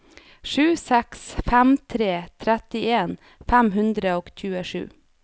sju seks fem tre trettien fem hundre og tjuesju